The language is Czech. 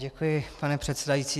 Děkuji, pane předsedající.